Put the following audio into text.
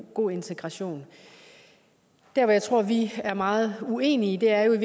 god integration der hvor jeg tror vi er meget uenige er i